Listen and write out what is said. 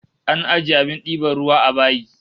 An ajiye abin diban ruwa a bayi